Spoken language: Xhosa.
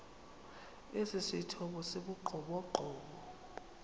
esithomo esi sibugqomogqomo